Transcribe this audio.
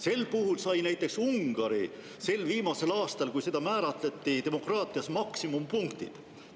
Sel puhul sai näiteks Ungari sel viimasel aastal, kui seda määratleti, demokraatias maksimumpunktid.